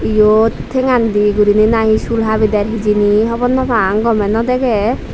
iyot thengan di guriney nahi sul habi der hijeni hobor naw pang doley naw degey.